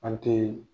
An te